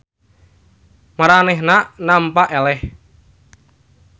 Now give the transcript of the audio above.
Maranehanana nampa eleh.